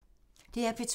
DR P2